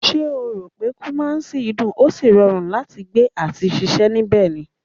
Ṣé o ròpé kumasi dùn, ó sì rọrùn láti gbé àti ṣiṣẹ́ nibẹ ni?